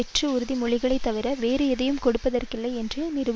தவிர வேறு எதையும் கொடுப்பதற்கில்லை என்று நிரூபித்துள்ளனர்